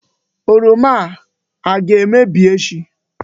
Oroma a aga-emebi echi?